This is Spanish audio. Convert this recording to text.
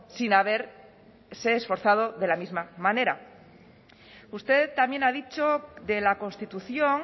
sin haberse forzado de la misma manera usted también ha dicho de la constitución